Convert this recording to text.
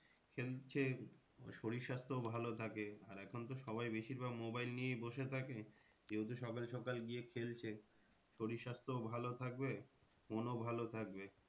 খেলছে ওর শরীর স্বাস্থ্যও ভালো থাকে আর এখন তো সবাই বেশির ভাগ mobile নিয়েই বসে থাকে। কেউ তো সকাল সকাল গিয়ে খেলছে। শরীর স্বাস্থ্যও ভালো থাকবে মনও ভালো থাকবে।